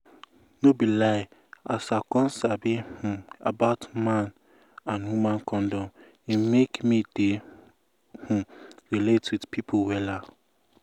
to sabi man you get and woman condom wella dey make you no enter serious wahala